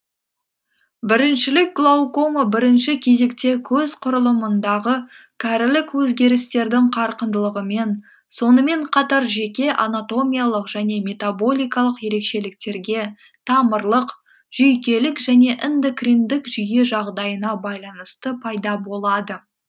біріншілік глаукома бірінші кезекте көз құрылымындағы кәрілік өзгерістердің қарқындылығымен сонымен қатар жеке анатомиялық және метаболикалық ерекшеліктерге тамырлық жүйкелік және эндокриндік жүйе жағдайына байланысты пайда болады